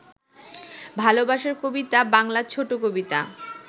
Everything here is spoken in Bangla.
ভালবাসার কবিতা বাংলা ছোট কবিতা